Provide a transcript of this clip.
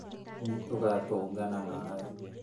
Nĩ tũgatũngana nawe